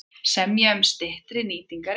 Semja um styttri nýtingarrétt